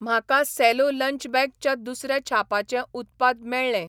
म्हाका सेलो lunch bag च्या दुसऱ्या छापाचें उत्पाद मेळ्ळें.